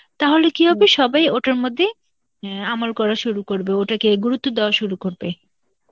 তাহলে কি হবে ওটার মধ্যে, অ্যাঁ আমল করা শুরু করবে, ওটাকে গুরুত্ব দেওয়া শুরু করবে.